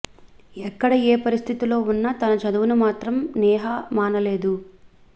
ఎక్కడ ఏ పరిస్థితిలో ఉన్నా తన చదువును మాత్రం నేహ మానలేదు